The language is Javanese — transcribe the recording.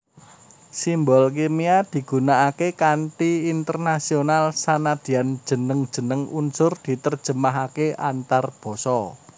Simbol kimia digunakaké kanthi internasional sanadyan jeneng jeneng unsur diterjemahaké antarbasa